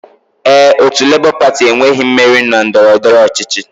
Ee, otu Labour Party enweghị mmeri na ndọrọndọrọ ọchịchị